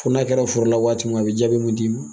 Fo n'a kɛra foro la waati min, a bi jaabiw mun d'i ma.